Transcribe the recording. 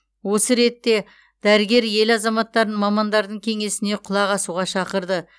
осы ретте дәрігер ел азаматтарын мамандардың кеңесіне құлақ асуға шақырды